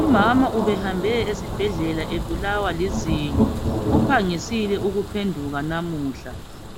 Umama ubehambe esibhedlela ebulawa lizinyo. Uphangisile ukuphenduka namuhla.